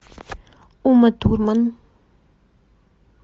ума турман